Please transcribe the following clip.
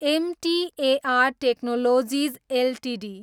MTAR Technologies Ltd